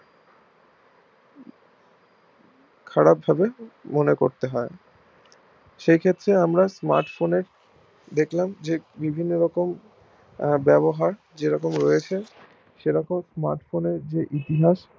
খারাপ ভাবে মনে করতে হয় সেই ক্ষেত্রে আমরা smart phone এর দেখলাম যে বিভিন্ন রকম ব্যবহার যেরকম রয়েছে সেরকম smart phone এর যে ইতিহাস